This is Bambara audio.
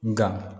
Nga